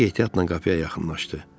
Zərrəcik ehtiyatla qapıya yaxınlaşdı.